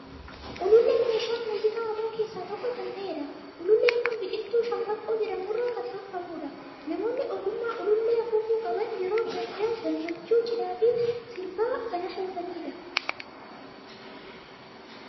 Uluulleen meeshaa muuziqaa aadaa keessaa tokko kan ta'edha. Uluulleen kun biqiltuu shambaqqoo jedhamu irraa kan tolfamudha. Namoonni ogummaa uluullee afuufuu qaban, yeroo gaddaa, gammachuu, cidhaa fi sirbaa kan afuufani dha.